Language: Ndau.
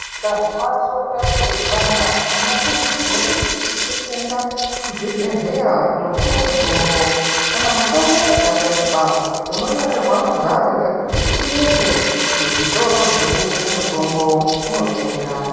Ukazwa soro rako reipanda unokurudzirwa kuti usise kuende kuzvibhedhleya kunopuwa mutombo kana mutombo ikashaikwa unonyorerwa magwaro ekuti uende kuzvitoro zvinotengese mutombo unotenga.